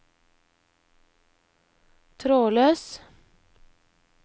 trådløs